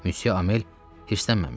Müsye Amel hirslənməmişdi.